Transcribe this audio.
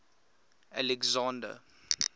alexander